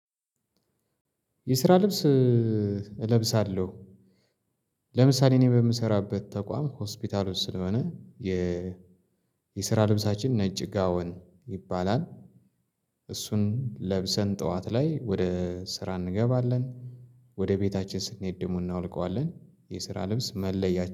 የስራ ልብስ እለብሳለሁ። ለምሳሌ እኔ በምሰራበት ተቋም ሆስፒታል ውስጥ ስለሆነ የ የስራ ልብሳችን ነጭ ጋውን ይባላል። እሱን ለብሰን ጠዋት ላይ ወደ ስራ እንገባለን። ወደ ቤታችን ስንሄድ ደሞ እናወልቀዋለን የስራ ልብስ መለያ